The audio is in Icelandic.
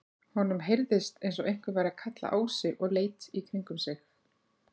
Honum heyrðist eins og einhver væri að kalla á sig og leit í kringum sig.